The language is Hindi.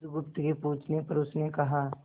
बुधगुप्त के पूछने पर उसने कहा